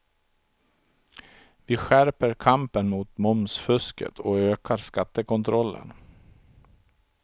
Vi skärper kampen mot momsfusket och ökar skattekontrollen.